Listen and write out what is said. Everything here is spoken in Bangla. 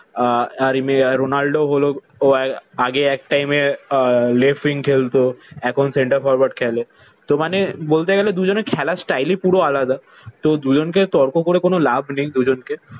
আহ আর এমনি রোনাল্ডো হলো আগে এক টাইমে আহ left wing খেলতো। এখন center forward খেলে। তো মানে বলতে গেলে দুজনের খেলার স্টাইলই পুরো আলাদা। তো দুজনকে তর্ক করে কোন লাভ নেই দুজনকে।